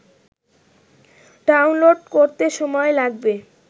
download করতে সময় লাগবে